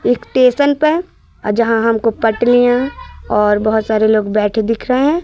एक स्टेशन पे है जहां हमको पटरियां और बोहोत सारे लोग बैठे दिख रहे हैं।